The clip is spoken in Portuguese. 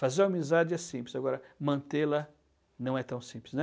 Fazer uma amizade é simples, agora mantê-la não é tão simples, né?